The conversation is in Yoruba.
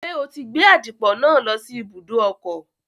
Ṣé o ti gbé àdìpọ̀ náà lọ sí ibùdó ọkọ̀?